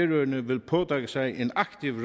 vil påtage sig en aktiv